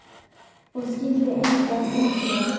Og skyldi engan undra.